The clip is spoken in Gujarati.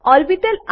ઓર્બિટલ